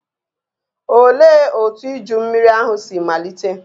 Olee otú iju mmiri ahụ si malite?